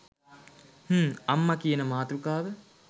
හ්ම් අම්මා කියන මාතෘකාව